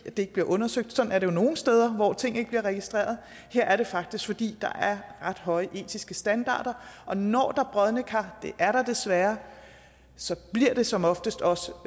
det ikke bliver undersøgt sådan er det jo nogle steder hvor ting ikke bliver registreret her er det faktisk fordi høje etiske standarder og når der er brodne kar og det er der desværre så bliver det som oftest også